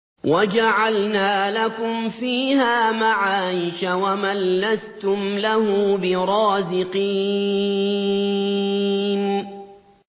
وَجَعَلْنَا لَكُمْ فِيهَا مَعَايِشَ وَمَن لَّسْتُمْ لَهُ بِرَازِقِينَ